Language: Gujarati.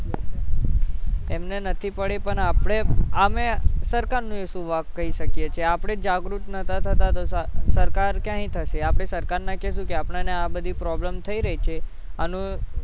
એમને નથી પડી પણ આપણે આમેય સરકારનો ય શું વાંક કઈ શકીએ છીએ આપણે જ જાગૃત નતા થતા સરકાર ક્યાંય થશે આપણે સરકારને કેશુ કે આપણને આવી બધી problem થઇ રહી છે આનું